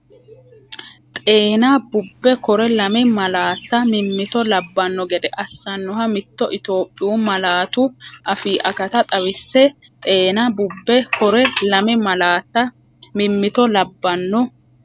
Xeena, bubbe kore lame malaatta mimmito labbanno gede assannoha mitto Itophiyu malaatu afii akata xawisse Xeena, bubbe kore lame malaatta mimmito labbanno.